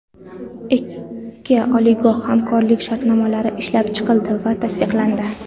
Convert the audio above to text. Ikki oliygoh hamkorlik shartnomalari ishlab chiqildi va tasdiqlandi.